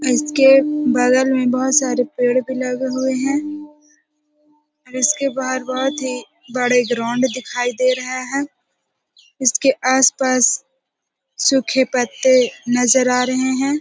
इसके बगल में बहुत सारे पेड़ भी लगे हुए हैं और इसके बाहर बहुत ही बड़े ग्राउंड दिखाई दे रहे हैं इसके आस-पास सूखे पत्ते नजर आ रहे हैं।